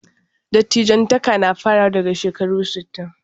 Dattijantaka na farawa daga shekaru sittin.